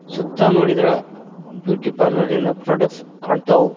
ಸುತ್ತ ನೋಡಿದ್ರ್ ಬ್ಯೂಟಿ ಪಾರ್ಲರಿ ನ ಪ್ರೊಡಕ್ಟ್ಸ್ ಕಾಣ್ತವು.